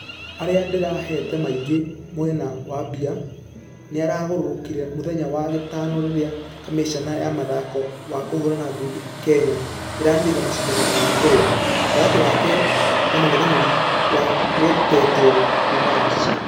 .....erĩa nderehate maingi mwena wa mbia nĩĩragarũrũkire mũthenya wa gatano rĩrĩa kamiseni ya mũthako wa kũhũrana ngundi kenya ĩraanĩrĩire mashidano ma kũrũa. Gatagatĩ wake na mũngethanĩrĩ ũtagwetetwo kuuma russia.